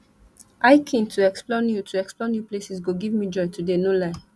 hiking to explore new to explore new places go give me joy today no lie